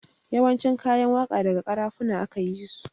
Yawancin kayan waƙa daga ƙarafuna aka yisu